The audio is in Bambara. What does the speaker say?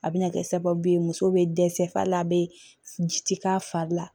A bɛna kɛ sababu ye muso bɛ dɛsɛ hali a bɛ ji k'a fari la